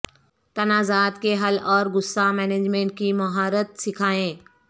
تنازعات کے حل اور غصہ مینجمنٹ کی مہارت سکھائیں